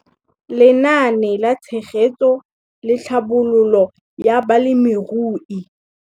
Lenaane la Tshegetso le Tlhabololo ya Balemirui.